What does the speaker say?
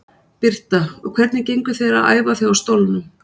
Birta: Og hvernig gengur þér að æfa þig á stólnum?